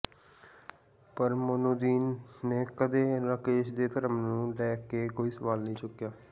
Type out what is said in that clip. ਪਰ ਮੋਨੁੱਦੀਨ ਨੇ ਕਦੇ ਰਾਕੇਸ਼ ਦੇ ਧਰਮ ਨੂੰ ਲੈ ਕੇ ਕੋਈ ਸਵਾਲ ਨਹੀਂ ਚੁੱਕਿਆ